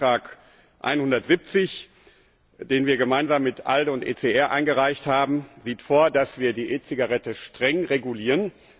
Der Änderungsantrag 170, den wir gemeinsam mit ALDE und ECR eingereicht haben, sieht vor, dass wir die E Zigarette streng regulieren.